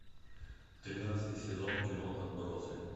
тринадцатый сезон кино отбросы